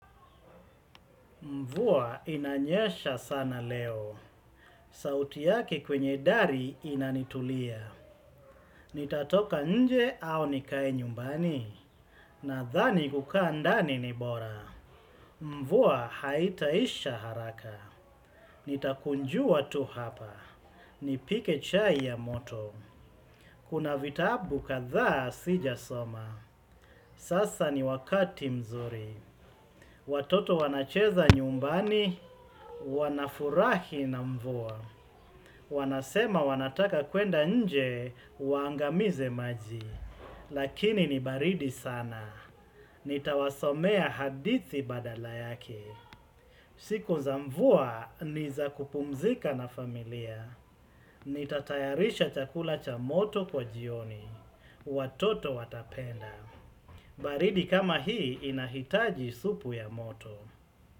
Mvua inanyesha sana leo. Sauti yake kwenye dari inanitulia. Nitatoka nje au nikae nyumbani. Nadhani kukaa ndani ni bora. Mvuwa haitaisha haraka. Nitakunjua tu hapa. Nipike chai ya moto. Kuna vitabu kadhaa sijasoma. Sasa ni wakati mzuri. Watoto wanacheza nyumbani. Wanafurahi na mvuwa. Wanasema wanataka kuenda nje, waangamize maji. Lakini ni baridi sana. Nitawasomea hadithi badala yake. Siku za mvua, ni za kupumzika na familia. Nitatayarisha chakula cha moto kwa jioni. Watoto watapenda. Baridi kama hii inahitaji supu ya moto.